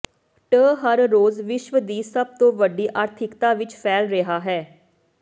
ਟ ਹਰ ਰੋਜ਼ ਵਿਸ਼ਵ ਦੀ ਸਭ ਤੋਂ ਵੱਡੀ ਆਰਥਿਕਤਾ ਵਿੱਚ ਫੈਲ ਰਿਹਾ ਹੈ